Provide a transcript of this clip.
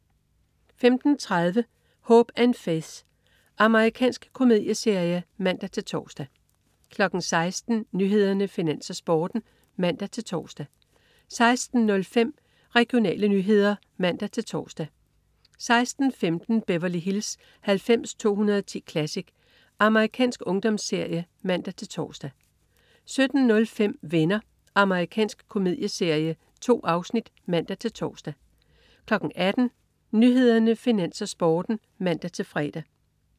15.30 Hope & Faith. Amerikansk komedieserie (man-tors) 16.00 Nyhederne, Finans, Sporten (man-tors) 16.05 Regionale nyheder (man-tors) 16.15 Beverly Hills 90210 Classic. Amerikansk ungdomsserie (man-tors) 17.05 Venner. Amerikansk komedieserie. 2 afsnit (man-tors) 18.00 Nyhederne, Finans, Sporten (man-fre)